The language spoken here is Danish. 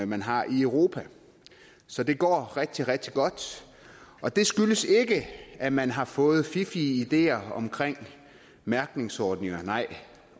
man har i europa så det går rigtig rigtig godt og det skyldes ikke at man har fået fiffige idéer om mærkningsordninger